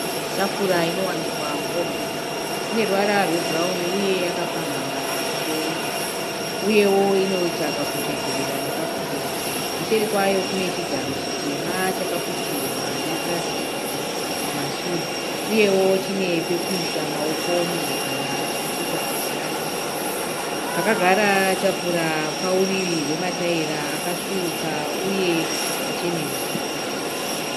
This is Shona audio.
Tafura inowanikwa muofisi ine ruvara rwebhurauni uye yakapamhamha pamusoro uyewo inoita kakutsvedzerera nekupenya. Kuseri kwayo kune chigaro chitema chakaputirwa nepurasitiki kumasure uyewo chine pekuisa maoko munhu kana achiita basa rake. Pakagara tafura pauriri hwmatayira akasvuuka uye akachenuruka.